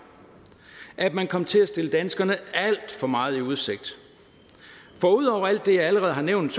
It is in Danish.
at man kom til at stille danskerne alt for meget i udsigt for ud over alt det jeg allerede har nævnt